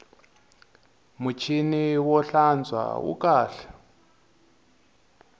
muchini wo hlantswa wu kahle